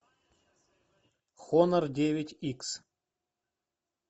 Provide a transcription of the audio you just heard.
хонор девять икс